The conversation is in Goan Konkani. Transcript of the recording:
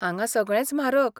हांगां सगळेंच म्हारग.